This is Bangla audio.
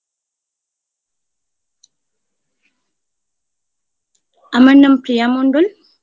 আমার নাম প্রিয়া মণ্ডল।